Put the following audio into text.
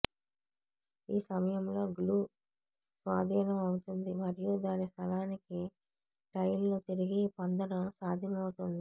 ఈ సమయంలో గ్లూ స్వాధీనం అవుతుంది మరియు దాని స్థలానికి టైల్ను తిరిగి పొందడం సాధ్యమవుతుంది